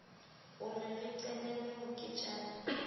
o re re qhelele moketjana